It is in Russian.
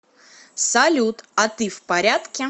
салют а ты в порядке